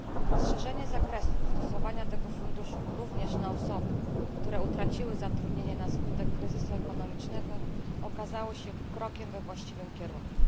Rozszerzenie zakresu stosowania tego funduszu również na osoby, które utraciły zatrudnienie na skutek kryzysu ekonomicznego, okazało się krokiem we właściwym kierunku.